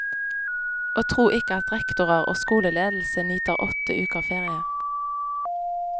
Og tro ikke at rektorer og skoleledelse nyter åtte uker ferie.